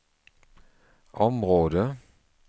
område